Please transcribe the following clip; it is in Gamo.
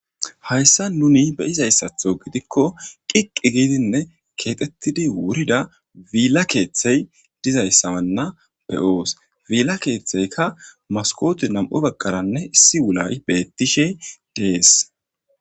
Hayssa nuni beyizayssatho gidikko qiqqi giidinne keexettidi wurida biilla keeththey dizayssanna beoosi billa keeththeykka maskote nam7u bagqaranne issi wulay beettishe de7es.